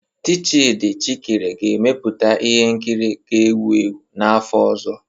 Tchidi Chikere ga-emeputa ihe nkiri ga-ewu ewu n'afọ ọzọ.